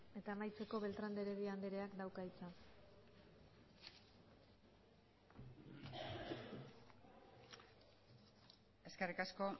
eta amaitzeko beltrán de heredia andreak dauka hitza eskerrik asko